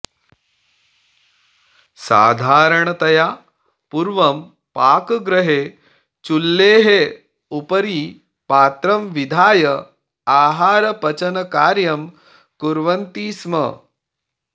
साधारणतया पूर्वं पाकगृहे चुल्लेः उपरि पात्रं विधाय आहारपचनकार्यं कुर्वन्ति स्म